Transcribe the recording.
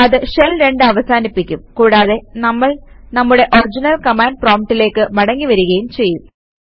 അത് ഷെൽ 2 അവസാനിപ്പിക്കും കൂടാതെ നമ്മൾ നമ്മുടെ ഒറിജിനൽ കമാൻഡ് പ്രോംപ്റ്റിലേക്ക് മടങ്ങി വരികയും ചെയ്യും